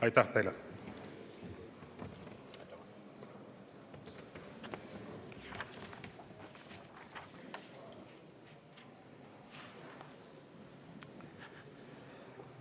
Aitäh teile!